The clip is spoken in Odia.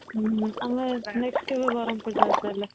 ଆମେ next କେବେ ବରମପୁର ଯାଉଛେ ତାହାଲେ